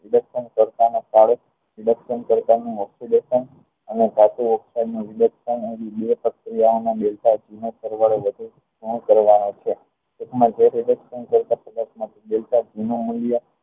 reduction કરતા ને અને ધાતુ નું રીદેક્ષ્ણ કરતા નું